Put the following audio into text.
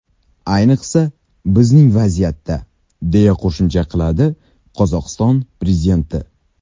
Ayniqsa, bizning vaziyatda”, deya qo‘shimcha qiladi Qozog‘iston prezidenti.